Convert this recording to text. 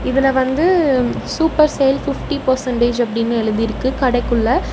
இதுல வந்து super sale fifty percentage அப்படின்னு எழுதிருக்கு கடைக்குள்ள.